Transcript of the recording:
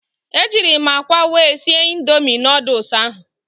Ejịrị m akwa wee sie Indomị nooduls ahụ